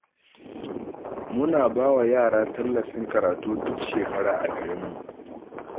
Muna ba wa yara tallafin karatu duk shekara a garinmu